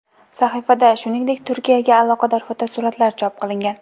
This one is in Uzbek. Sahifada, shuningdek, Turkiyaga aloqador fotosuratlar chop qilingan.